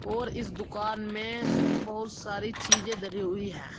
और इस दुकान में बहुत सारी चीजें धरी हुई है।